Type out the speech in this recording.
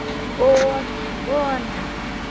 Og vona.